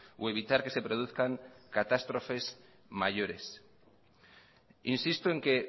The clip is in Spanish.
o evitar que se produzcan catástrofes mayores insisto en que